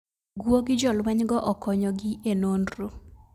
Guogi jolweny go okonyo gi e nondro